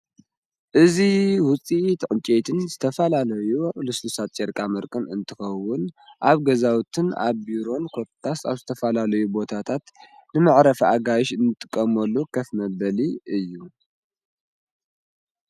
እዙ ውፂ ተዑንቄትን ዝተፋላለዩ ልስልሳት ጨርቃ ምርክን እንትኸውን ኣብ ገዛውትን ኣብ ቢሮን ኰታስ ኣብ ዝተፋላለዩ ቦታታት ንምዕረፊ ኣጋይሽ እንትቀሞሉ ኸፍመበሊ እዩ::